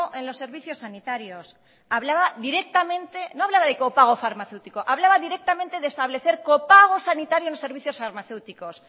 en los servicios sanitarios hablaba directamente no hablaba de copago farmacéutico hablaba directamente de establecer copago sanitario en los servicios farmacéuticos